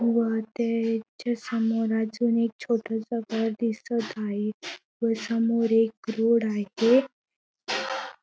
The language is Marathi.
व ते समोर अजून एक छोटस घर दिसत आहे व समोर एक रोड आहे.